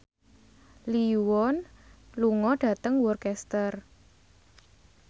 Lee Yo Won lunga dhateng Worcester